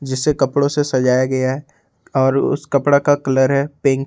इसे कपड़ों से सजाया गया है और उस कपड़ा का कलर है पिंक ।